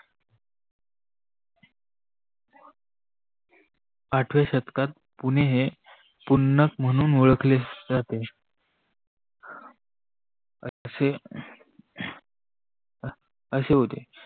आठव्या शतकात पुणे हे पुन्नक म्णून ओळखले जातात असे होत.